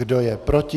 Kdo je proti?